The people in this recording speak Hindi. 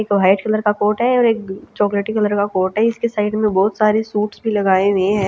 एक व्हाइट कलर का कोट है और एक चॉकलेटी कलर का कोट है जिसके साइड में बहोत सारे सूट्स भी लगाए हुए है।